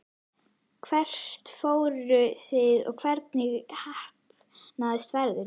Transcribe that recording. Hvert fóruð þið og hvernig heppnaðist ferðin?